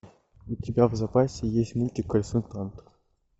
у тебя в запасе есть мультик консультант